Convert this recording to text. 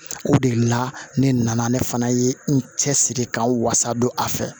O de la ne nana ne fana ye n cɛ siri ka n wasa don a fɛ